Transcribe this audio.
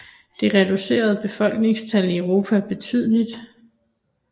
Det reducerede befolkningstallet i Europa betydeligt